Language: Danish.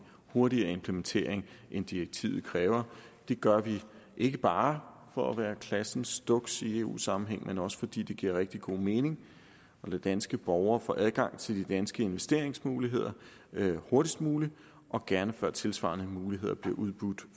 hurtigere implementering end direktivet kræver det gør vi ikke bare for at være klassen duks i eu sammenhæng men også fordi det giver rigtig god mening at lade danske borgere få adgang til de danske investeringsmuligheder hurtigst muligt og gerne før tilsvarende muligheder bliver udbudt